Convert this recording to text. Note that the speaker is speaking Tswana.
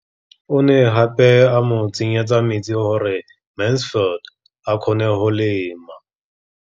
O ne gape a mo tsenyetsa metsi gore Mansfield a kgone go lema.